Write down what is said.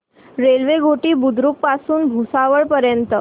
railway Ghoti Budruk पासून भुसावळ पर्यंत